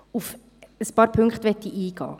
Auf ein paar Punkte möchte ich eingehen.